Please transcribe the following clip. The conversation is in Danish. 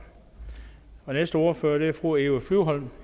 den næste ordfører er fru eva flyvholm